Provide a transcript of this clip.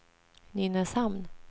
Nynäshamn